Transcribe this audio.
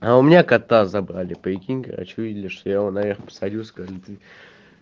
а у меня кота забрали прикинь короче увидели что я его наверх посадил сказали ну ты